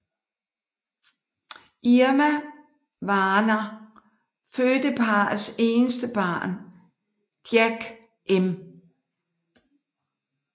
Irma Warner fødte parrets eneste barn Jack M